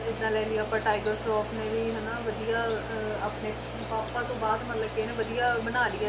ਜਿੱਦਾਂ ਲੈ ਲਈਏ ਆਪਾਂ ਟਾਈਗਰ ਸਰਾਫ਼ ਨੇ ਵੀ ਹਨਾ ਵਧੀਆ ਅਹ ਆਪਣੇ ਪਾਪਾ ਤੋਂ ਬਾਅਦ ਮਤਲਬ ਕਿ ਇਹਨੇ ਵਧੀਆ ਬਣਾ ਲਈ ਹੈ,